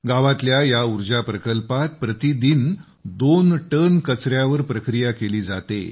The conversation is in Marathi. गावातल्या या ऊर्जा प्रकल्पात प्रतिदिन दोन टन कचऱ्यावर प्रक्रिया केली जाते